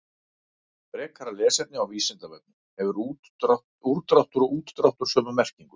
Frekara lesefni á Vísindavefnum: Hefur úrdráttur og útdráttur sömu merkingu?